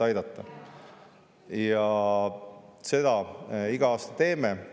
Seda me iga aasta teeme.